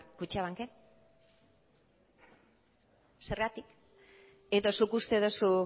kutxabanken zergatik edo zuk uste duzu